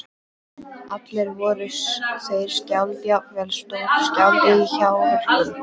Allir voru þeir skáld, jafnvel stórskáld- í hjáverkum.